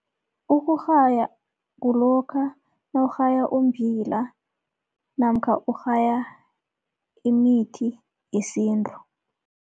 Ukurhaya kulokha nawurhaya umbila namkha urhaya imithi yesintu.